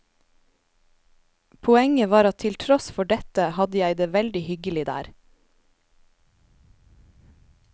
Poenget var at til tross for dette hadde jeg det veldig hyggelig der.